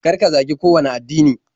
Kar ka zagi kowanne addini.